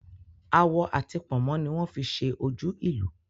Awọ ati pònmó ni wón fi ṣe ojú ìlù